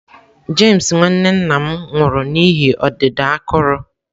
James nwanne nna m nwụrụ n'ihi ọdịda akụrụ.